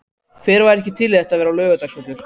Hver væri ekki til í að þetta væri Laugardalsvöllur?